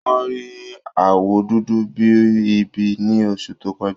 Wọ́n rí àwọ̀ dúdú bí i ibi ní oṣù tó kọjá